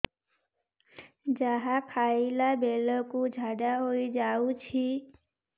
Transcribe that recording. ଯାହା ଖାଇଲା ବେଳକୁ ଝାଡ଼ା ହୋଇ ଯାଉଛି